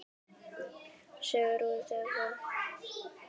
Sögur útgáfa.